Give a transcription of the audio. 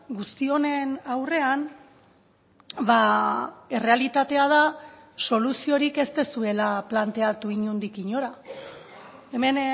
guzti honen aurrean errealitatea da soluziorik ez duzuela planteatu inondik inora hemen